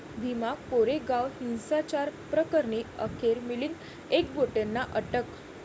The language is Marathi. भीमा कोरेगाव हिंसाचार प्रकरणी अखेर मिलिंद एकबोटेंना अटक